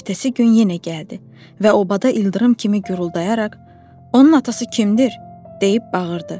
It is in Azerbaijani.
Ertəsi gün yenə gəldi və obada ildırım kimi guruldayaraq: Onun atası kimdir, deyib bağırdı.